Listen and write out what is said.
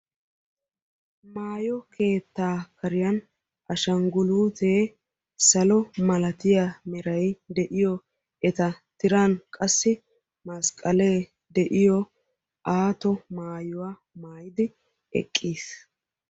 Maayo keetta kariyan ashangguluutee salo meray de"iyo eta tiran qassi masqalee de'iyo aato maayuwa maayidi eqqiis.